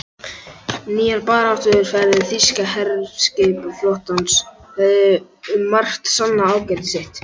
Nýjar baráttuaðferðir þýska herskipaflotans höfðu um margt sannað ágæti sitt.